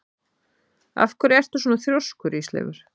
Af hverju ertu svona þrjóskur, Ísleifur?